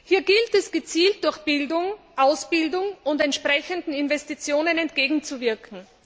Hier gilt es gezielt durch Bildung, Ausbildung und entsprechende Investitionen entgegenzuwirken.